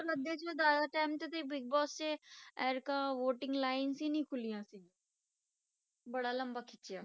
ਪਰ ਜ਼ਿਆਦਾ time ਤੇ ਬਿਗ ਬੋਸ 'ਚ voting lines ਹੀ ਨੀ ਖੁੱਲੀਆਂ ਸੀ ਬੜਾ ਲੰਬਾ ਖਿੱਚਿਆ।